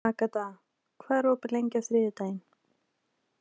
Agata, hvað er opið lengi á þriðjudaginn?